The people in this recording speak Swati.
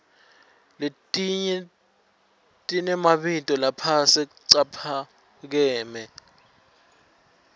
letnye tiremabito laphasi caphakeme